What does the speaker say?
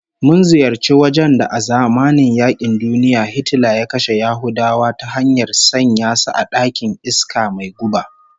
Mun ziyarci wajen da a zamanin yaƙin duniya Hitler ya kashe Yahudawa ta hanyar sanya su a ɗakin iska mai guba